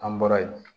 An bɔra yen